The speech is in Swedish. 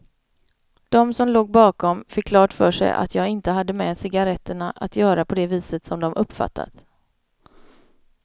De som låg bakom fick klart för sig att jag inte hade med cigaretterna att göra på det viset som de uppfattat.